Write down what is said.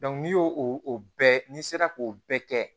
n'i y'o o o bɛɛ n'i sera k'o bɛɛ kɛ